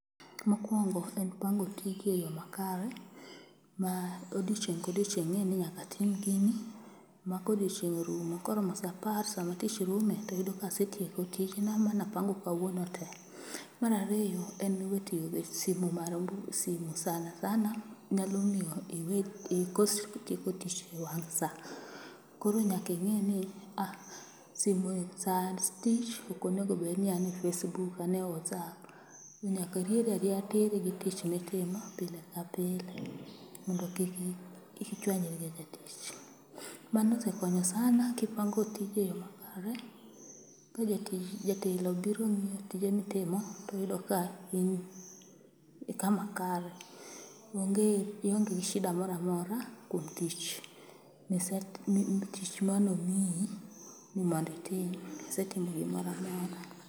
Mokwongo en pango tiji e yo makare ma odiechieng' ka odiechieng' ing'e ni nyaka atim gini, ma kodiochieng' orumo koro mo sa apar sama tich rume to yudo kasetieko tijena mana pango kawuono te. Mar ariyo, en we tiyo gi simu, simu sana sana nyalo miyo ikos tieko tich e wang' sa. Koro nyaka ing'i ni simuni, sa tich ok onego bed ni an e Facebook, an e Whatsapp. Nyaka irieri arieya tir gi tich mitimo pile ka pile mondo kik ichuanyri gi jatich. Mano osekonyo sana kipango tiji e yo makare ka jatelo obiro ng'iyo tije mitimo, toyudo ka in ni kama kare. Ionge shida moro amora kuom tich manomiyi ni mondo itim. Isetimo gimoro amora.